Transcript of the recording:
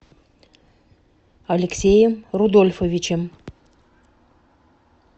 алексеем рудольфовичем